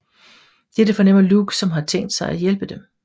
Dette fornemmer Luke som har tænkt sig at hjælpe dem